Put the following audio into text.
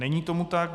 Není tomu tak.